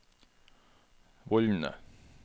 vollene